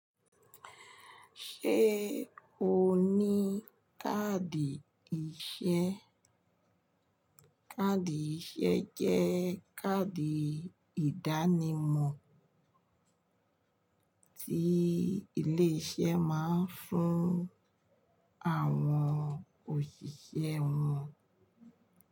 Ṣé o ní káàdì iṣẹ́? Káàdì iṣẹ́ jẹ́ káàdì ìdánimọ̀ ti ile ise ma n fun awon osise won.